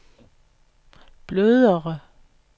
blødere